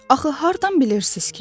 Axı hardan bilirsiz ki?